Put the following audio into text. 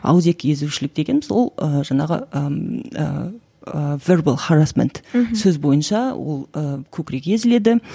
ауызекі езушілік дегеніміз ол ы жаңағы ііі сөз бойынша ол і көкірегі езіледі